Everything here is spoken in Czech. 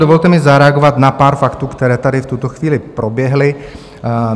Dovolte mi zareagovat na pár faktů, které tady v tuto chvíli proběhly.